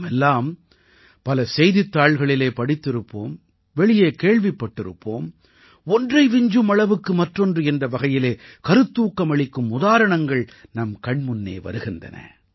நாமெல்லாம் பல செய்தித் தாள்களிலே படித்திருப்போம் வெளியே கேள்விப்பட்டிருப்போம் ஒன்றை விஞ்சும் அளவுக்கு மற்றொன்று என்ற வகையிலே கருத்தூக்கமளிக்கும் உதாரணங்கள் நம் கண்முன்னே வருகின்றன